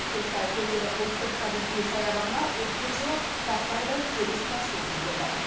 көлсай көлдері ұлттық табиғи саябағына өткен жылы тақтайдай тегіс тасжол төселді